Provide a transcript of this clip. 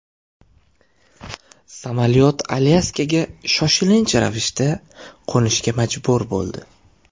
Samolyot Alyaskaga shoshilinch ravishda qo‘nishga majbur bo‘ldi.